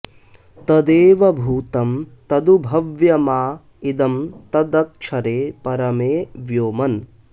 तदेव भूतं तदु भव्यमा इदं तदक्षरे परमे व्योमन्